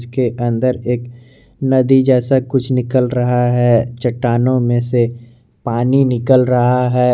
के अंदर एक नदी जैसा कुछ निकल रहा है चट्टानों में से पानी निकल रहा है।